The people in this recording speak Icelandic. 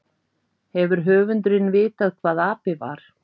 Hefur höfundurinn vitað hvað api var?